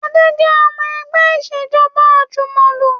Adé jẹ́ ọmọ ẹgbẹ́ Ìṣèjọ́ba àjùmọ̀lò